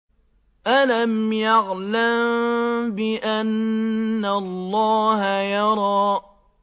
أَلَمْ يَعْلَم بِأَنَّ اللَّهَ يَرَىٰ